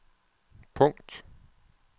punkt